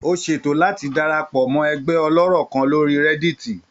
Ó ṣètò láti darapọ̀ mọ́ ẹgbẹ́ ọlọ́rọ̀ kan lórí Reddit.